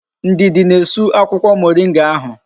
Ndidi na-esu akwukwo moringa ahu